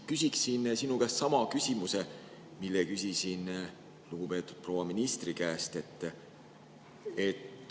Küsin sinu käest sama küsimuse, mille küsisin lugupeetud proua ministri käest.